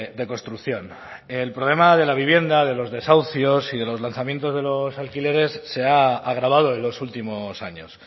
de construcción el problema de la vivienda de los desahucios y de los lanzamientos de los alquileres se ha agravado en los últimos años